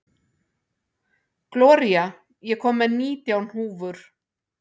Gloría, ég kom með nítján húfur!